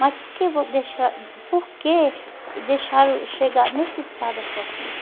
Mas por que vo deixa por que deixaram chegar nesse estado a sua filha?